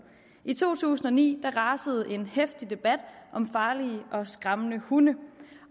i to tusind og ni rasede en heftig debat om farlige og skræmmende hunde